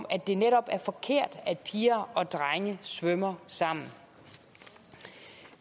at det netop er forkert at piger og drenge svømmer sammen